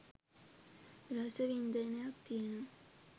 රස වින්දනයක් තියනවා.